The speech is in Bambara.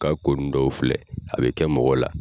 Ka ko nun dɔw filɛ a bɛ kɛ mɔgɔ la.